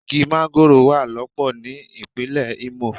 Igi mángóròò wà lọ́pọ̀ ní ìpínlè Imo.